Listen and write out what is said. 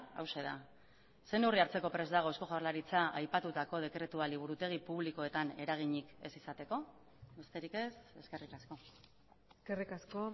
hauxe da ze neurri hartzeko prest dago eusko jaurlaritza aipatutako dekretua liburutegi publikoetan eraginik ez izateko besterik ez eskerrik asko eskerrik asko